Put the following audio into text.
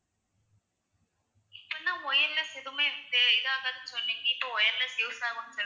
இப்போ தான் wireless எதுவுமே இந்த இதாகாது சொன்னீங்க. இப்போ ஆகும்ன்னு சொல்~